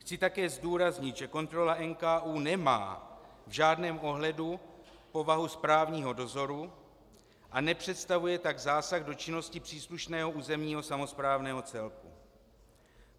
Chci také zdůraznit, že kontrola NKÚ nemá v žádném ohledu povahu správního dozoru a nepředstavuje tak zásah do činnosti příslušného územního samosprávného celku.